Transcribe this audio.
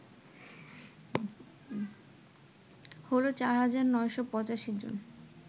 হল ৪৯৮৫ জন